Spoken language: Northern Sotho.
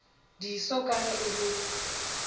diso ka ge e le